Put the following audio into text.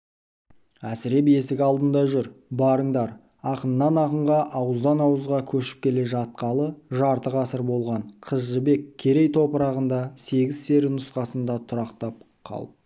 әсіреп есік алдында жүр барыңдар ақыннан ақынға ауыздан ауызға кешіп келе жатқалы жарты ғасыр болған қыз жібек керей топырағында сегіз-сері нұсқасында тұрақтап қалып